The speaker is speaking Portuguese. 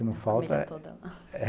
É a família toda lá.